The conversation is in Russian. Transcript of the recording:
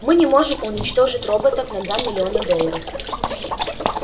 мы не можем уничтожить роботов на два миллиона долларов